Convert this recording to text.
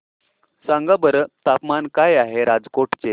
सांगा बरं तापमान काय आहे राजकोट चे